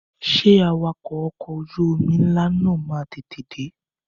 Ṣé Awakọ̀ ọkọ̀ ojú omi ńlá náà máa tètè de?